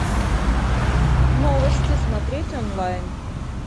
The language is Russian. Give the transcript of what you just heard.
новости смотреть онлайн